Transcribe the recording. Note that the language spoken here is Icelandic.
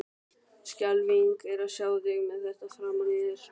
Skelfing er að sjá þig með þetta framan í þér!